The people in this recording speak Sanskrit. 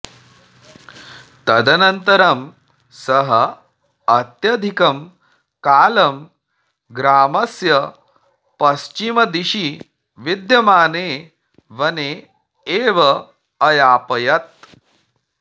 तदनन्तरं सः अत्यधिकं कालं ग्रामस्य पश्चिमदिशि विद्यमाने वने एव अयापयत्